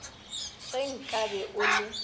ge nka be o le